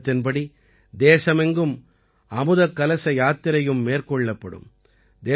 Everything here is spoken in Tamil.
இந்த இயக்கத்தின்படி தேசமெங்கும் அமுதக் கலச யாத்திரையும் மேற்கொள்ளப்படும்